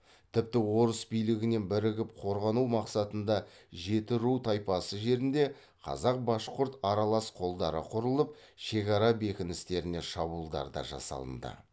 тіпті орыс билігінен бірігіп корғану мақсатында жетіру тайпасы жерінде қазақ башқұрт аралас қолдары құрылып шекара бекіністеріне шабуылдар да жасалынды